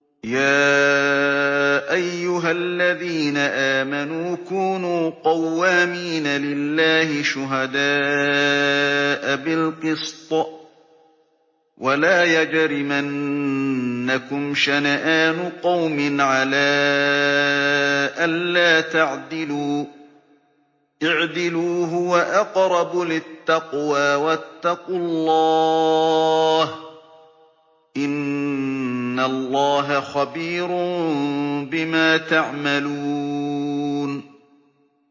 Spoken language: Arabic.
يَا أَيُّهَا الَّذِينَ آمَنُوا كُونُوا قَوَّامِينَ لِلَّهِ شُهَدَاءَ بِالْقِسْطِ ۖ وَلَا يَجْرِمَنَّكُمْ شَنَآنُ قَوْمٍ عَلَىٰ أَلَّا تَعْدِلُوا ۚ اعْدِلُوا هُوَ أَقْرَبُ لِلتَّقْوَىٰ ۖ وَاتَّقُوا اللَّهَ ۚ إِنَّ اللَّهَ خَبِيرٌ بِمَا تَعْمَلُونَ